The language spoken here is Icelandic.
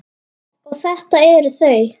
Og þetta eru þau.